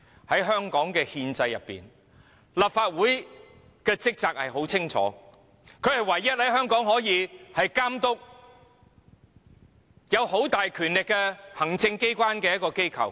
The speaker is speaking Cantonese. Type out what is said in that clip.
在香港的憲制，立法會的職責十分清楚，是全港唯一可以監督擁有很大權力的行政機關的機構。